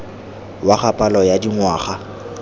wa ga palo ya dingwaga